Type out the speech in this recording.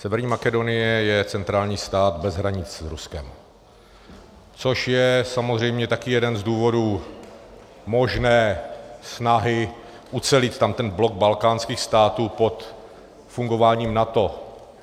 Severní Makedonie je centrální stát bez hranic s Ruskem, což je samozřejmě také jeden z důvodů možné snahy ucelit tam ten blok balkánských států pod fungováním NATO.